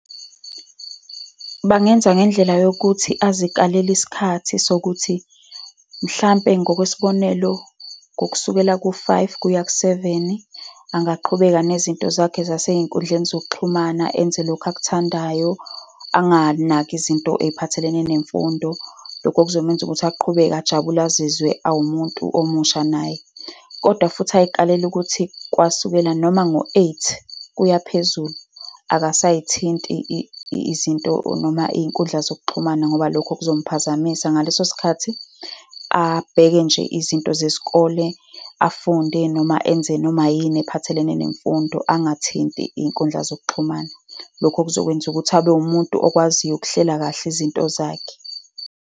Bangenza ngendlela yokuthi azikalele isikhathi sokuthi, mhlampe ngokwesibonelo, ngokusukela ku-five kuya ku-seven, angaqhubeka nezinto zakhe zasey'nkundleni zokuxhumana, enze lokhu akuthandayo, anganaki izinto ey'phathelene nemfundo. Lokho kuzomenza ukuthi aqhubeke ajabule azizwe awumuntu omusha naye. Kodwa futhi ayikalele ukuthi kwasukela noma ngo-eight kuya phezulu, akasayithiti izinto, noma iy'nkundla zokuxhumana, ngoba lokho kuzomuphazamisa. Ngaleso sikhathi, abheke nje izinto zesikole, afunde noma enze noma yini ephathelene nemfundo, angathinti iy'nkundla zokuxhumana. Lokho kuzokwenza ukuthi abe umuntu okwaziyo ukuhlela kahle izinto zakhe.